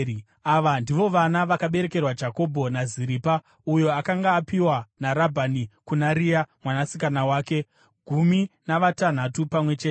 Ava ndivo vana vakaberekerwa Jakobho naZiripa, uyo akanga apiwa naRabhani kuna Rea mwanasikana wake, gumi navatanhatu pamwe chete.